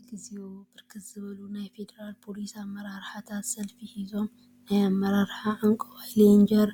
እግዚኦ! ብርክት ዝበሉ ናይ ፌደራል ፖሊስ አመራርሓታት ሰልፊ ሒዞም ናይ አመራርሓ ዕንቋይ ሌንጀር